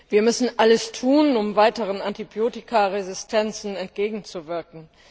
Wir müssen alles tun, um weiteren Antibiotikaresistenzen entgegenzuwirken.